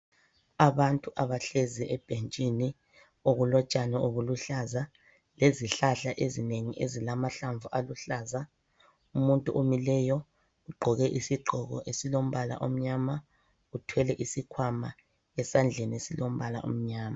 Abantu abahlezi ebhentshini okulotshani obuluhlaza lezihlahla ezinengi ezilamahlamvu aluhlaza. Umuntu omileyo ugqoke isigqoko esilombala omnyama uthwele isikhwama esandleni esilombala omnyama